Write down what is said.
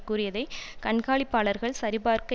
கூறியதை கண்காணிப்பாளர்கள் சரி பார்க்க